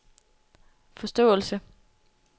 forståelse